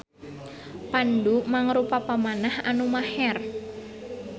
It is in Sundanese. Pandu mangrupa pamanah anu maher.